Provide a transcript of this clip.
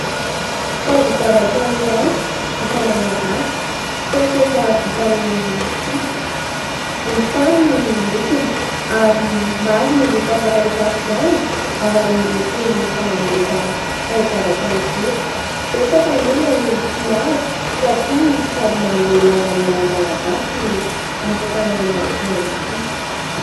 Taozavatra iray vita malagasy : poketra vita amin'ny rofia, volontany ny lokony ary maro ny loko afaka hisafidianana ao amin'itony mpanambotra taozavatra itony. Betsaka ny olona no tia azy satria sady manome lanja ny maha malagasy no asa tànana mafy ihany koa.